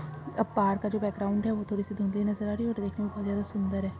पहाड का जो बॅकग्राउंड है थोड़ीसी धुंदली नजर आ रही है देखने में बहुत सुंदर है।